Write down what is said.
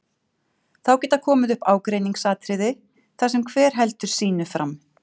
Þá geta komið upp ágreiningsatriði þar sem hver heldur sínu fram.